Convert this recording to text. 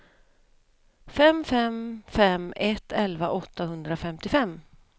fem fem fem ett elva åttahundrafemtiofem